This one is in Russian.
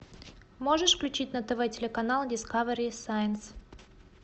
можешь включить на тв телеканал дискавери сайнс